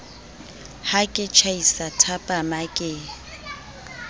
ha ke tjhaisa thapama ke